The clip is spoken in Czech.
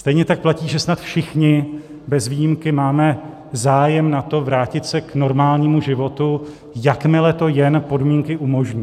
Stejně tak platí, že snad všichni bez výjimky máme zájem na tom vrátit se k normálnímu životu, jakmile to jen podmínky umožní.